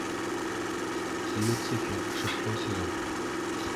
люцифер шестой сезон